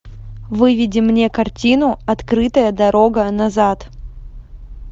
выведи мне картину открытая дорога назад